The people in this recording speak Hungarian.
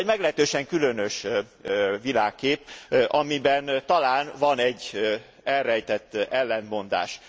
Ez egy meglehetősen különös világkép, amiben talán van egy elrejtett ellentmondás.